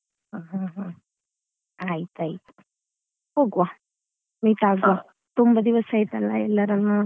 ಹ್ಮ್ ಹ್ಮ್ ಆಯ್ತಾಯ್ತು ಹೋಗುವ meet ಆಗುವ ತುಂಬ ದಿವಸ ಆಯ್ತಲ್ಲಾ ಎಲ್ಲರನ್ನು ನೋಡಿ.